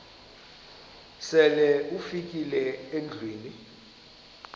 sele ufikile endlwini